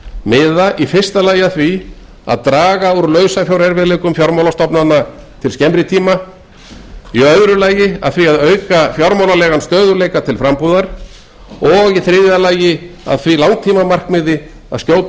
miða í fyrsta lagi að því að draga úr lausafjárerfiðleikum fjármálastofnana til skemmri tíma í öðru lagi að því að auka fjármálalegan stöðugleika til frambúðar og í þriðja lagi að því langtímamarkmiði að skjótum